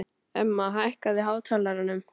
Emma, hækkaðu í hátalaranum.